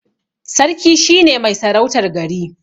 Sarki shine mai sarautar gari.